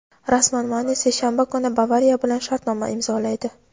Rasman: Mane seshanba kuni "Bavariya" bilan shartnoma imzolaydi;.